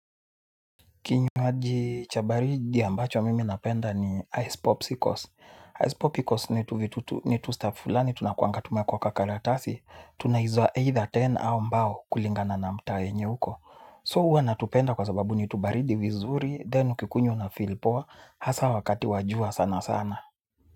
Kinywaji cha baridi ambacho mimi napenda ni Ice Popsicles. Ice Popsicles ni tustaf fulani tunakuanga tumeekwa kwa karatasi. Tunaiuza either kumi au mbao kulingana na mtaa yenye uko. So huwa natupenda kwa sababu ni tubaridi vizuri then ukikunywa unafeel poa. Hasa wakati wa jua sana sana.